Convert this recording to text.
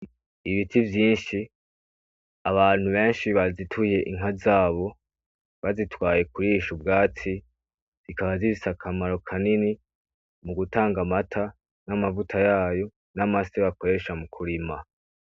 Ibiti vyinshi abantu benshi bazituye inka zabo bazitwaye kurisha ubwatsi zikaba zifise akamaro kanini mu gutanga amata n'amavuta yayo, n'amase bakoresha mu kurima.